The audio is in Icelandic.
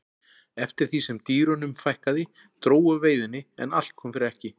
eftir því sem dýrunum fækkaði dró úr veiðinni en allt kom fyrir ekki